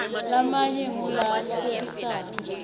lamanye ngula hlekisako